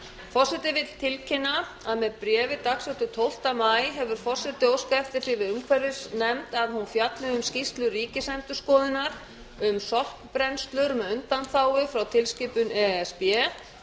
forseti tilkynnir að með bréfi dagsettu tólfta maí hefur forseti óskað eftir því við umhverfisnefnd að hún fjalli um skýrslu ríkisendurskoðunar um sorpbrennslur með undanþágu frá tilskipun e s b